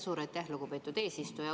Suur aitäh, lugupeetud eesistuja!